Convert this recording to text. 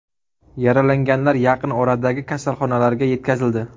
Yaralanganlar yaqin oradagi kasalxonalarga yetkazildi.